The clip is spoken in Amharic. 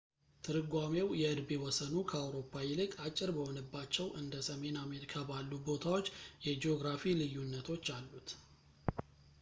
ትርጓሜው የእድሜ ወሰኑ ከአውሮፓ ይልቅ አጭር በሆነባቸው እንደ ሰሜን አሜሪካ ባሉ ቦታዎች የጂኦግራፊ ልዩነቶች አሉት